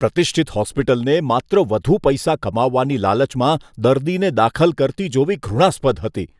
પ્રતિષ્ઠિત હોસ્પિટલને માત્ર વધુ પૈસા કમાવવાની લાલચમાં દર્દીને દાખલ કરતી જોવી ઘૃણાસ્પદ હતી.